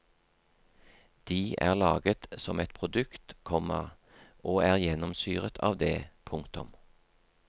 De er laget som et produkt, komma og er gjennomsyret av det. punktum